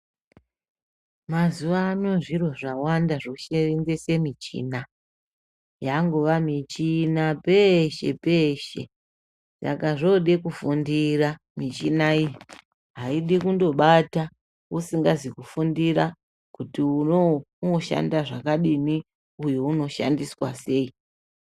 Mazuva anawa zviro zvawanda zvosevenzesa michina yangova michina peshe peshe Saka zvoda kufundira michina iyi aidi kungobata usingazi kufundira kuti onauyu unoshanda zvakadini uyu unoshandiswa sei.